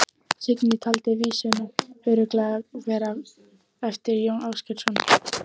Signý taldi vísuna örugglega vera eftir Jón Ásgeirsson.